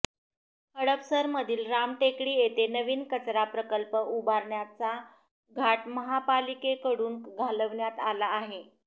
हडपसरमधील रामटेकडी येथे नवीन कचरा प्रकल्प उभारण्याचा घाट महापालिकेकडून घालण्यात आला आहे